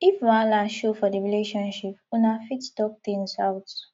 if wahala show for di relationship una fit talk things out